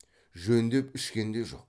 жөндеп ішкен де жоқ